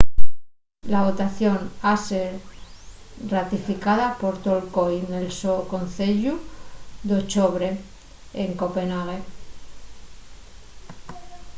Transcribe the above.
la votación ha ser ratificada por tol coi nel so conceyu d’ochobre en copenh.ague